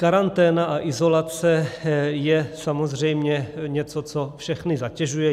Karanténa a izolace je samozřejmě něco, co všechny zatěžuje.